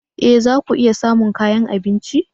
E! za ku iya samun kayan abinci.